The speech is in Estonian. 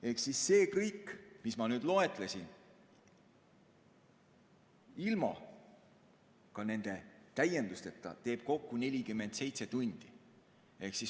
Ehk see kõik, mida ma loetlesin, ka ilma nende täiendusteta teeb kokku 47 tundi.